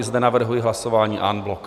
I zde navrhuji hlasování en bloc.